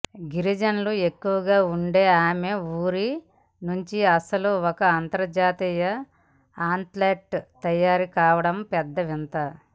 గిరిజనులు ఎక్కువగా ఉండే ఆమె ఊరి నుంచి అసలు ఒక అంతర్జాతీయ అథ్లెట్ తయారు కావడమే పెద్ద వింత